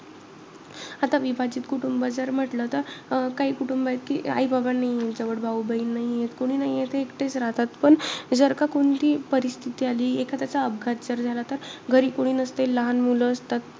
आता विभाजित कुटुंब जर म्हंटलं तर, अं काही कुटुंबात आई-बाबा नाहीये. जवळ भाऊ बहीण नाहीये. कोणी नाहीये ते एकटे राहतात. पण जर का, कोणती परिस्थिती आली एखाद्याचा अपघात जर झाला तर, घरी कोणी नसते लहान मुलं असतात.